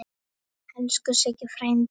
Elsku Siggi frændi.